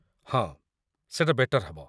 ହଁ ସେଟା ବେଟର ହବ ।